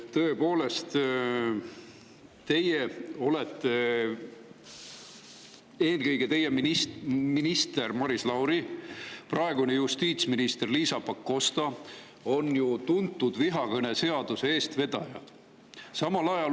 Tõepoolest, teie minister Maris Lauri ja praegune justiitsminister Liisa Pakosta on ju tuntud kui vihakõneseaduse eestvedajad.